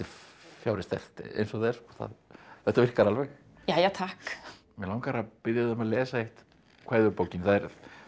fjári sterkt eins og það er þetta virkar alveg jæja takk mig langar að biðja þig að lesa eitt kvæði úr bókinni það er